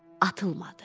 Atılmadı.